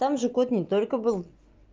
там же кот не только был